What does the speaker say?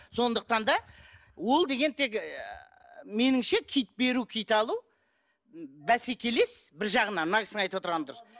сондықтан да ол деген тек меніңше киіт беру киіт алу бәсекелес бір жағынан мына кісінің айтып отырғаны дұрыс